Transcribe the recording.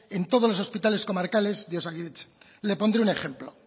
en todos los hospitales comarcales de osakidetza le pondré un ejemplo